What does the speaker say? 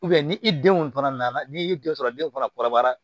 ni i denw fana nana n'i y'i den sɔrɔ den fana kɔrɔbayara